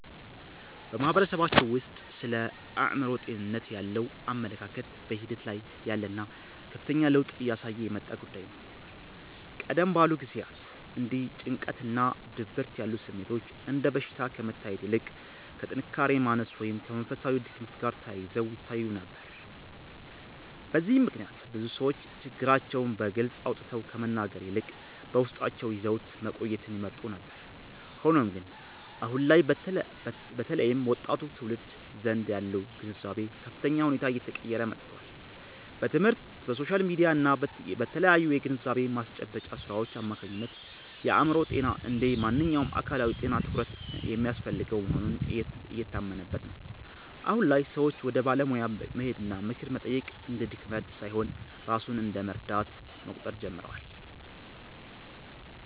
በማህበረሰባችን ውስጥ ስለ አእምሮ ጤንነት ያለው አመለካከት በሂደት ላይ ያለና ከፍተኛ ለውጥ እያሳየ የመጣ ጉዳይ ነው። ቀደም ባሉ ጊዜያት እንደ ጭንቀትና ድብርት ያሉ ስሜቶች እንደ በሽታ ከመታየት ይልቅ ከጥንካሬ ማነስ ወይም ከመንፈሳዊ ድክመት ጋር ተያይዘው ይታዩ ነበር። በዚህም ምክንያት ብዙ ሰዎች ችግራቸውን በግልጽ አውጥተው ከመናገር ይልቅ በውስጣቸው ይዘውት መቆየትን ይመርጡ ነበር። ሆኖም ግን፣ አሁን ላይ በተለይም በወጣቱ ትውልድ ዘንድ ያለው ግንዛቤ በከፍተኛ ሁኔታ እየተቀየረ መጥቷል። በትምህርት፣ በሶሻል ሚዲያ እና በተለያዩ የግንዛቤ ማስጨበጫ ሥራዎች አማካኝነት የአእምሮ ጤና እንደ ማንኛውም አካላዊ ጤና ትኩረት የሚያስፈልገው መሆኑ እየታመነበት ነው። አሁን ላይ ሰዎች ወደ ባለሙያ መሄድና ምክር መጠየቅ እንደ ድክመት ሳይሆን ራስን እንደ መርዳት መቁጠር ጀምረዋል።